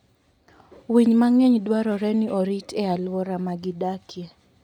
Winy mang'eny dwarore ni orit e alwora ma gidakie.